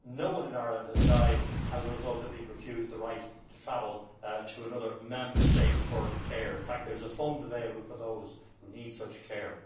No one in Ireland has died as a result of being refused the right to travel to another Member State for care in fact, there is a fund available for those who need such care.